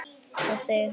Þá segir hann